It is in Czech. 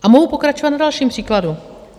A mohu pokračovat na dalším příkladu.